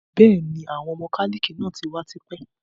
Bẹ́ẹ̀ni, Àwọn mọ́kálíkì náà tí wá tipẹ́